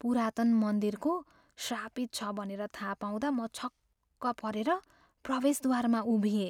पुरातन मन्दिरको श्रापित छ भनेर थाह पाउँदा म छक्क परेर प्रवेशद्वारमा उभिएँ।